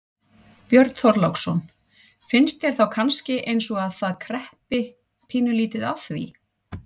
Björn Þorláksson: Finnst þér þá kannski eins og að það kreppi pínulítið að því?